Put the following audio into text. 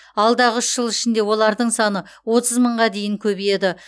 алдағы үш жыл ішінде олардың саны отыз мыңға дейін көбейеді